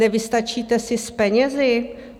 Nevystačíte si s penězi?